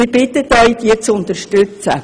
Wir bitten Sie, diese zu unterstützen.